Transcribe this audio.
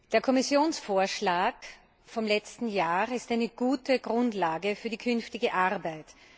Der Kommissionsvorschlag vom letzten Jahr ist eine gute Grundlage für die künftige Arbeit.